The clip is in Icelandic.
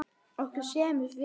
Okkur semur vel